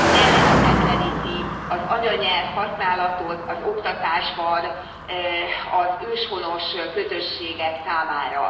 ellehetetleníti az anyanyelv használatot az oktatásban az őshonos közösségek számára.